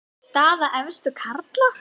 Staða efstu karla